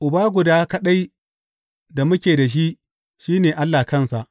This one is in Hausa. Uba guda kaɗai da muke da shi, shi ne Allah kansa.